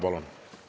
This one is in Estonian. Palun lisaaega ka.